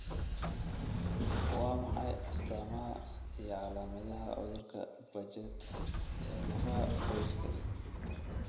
Waa maxay astaamaha iyo calaamadaha cudurka Paget ee lafaha, qoyska?